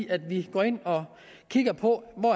at vi går ind og kigger på hvor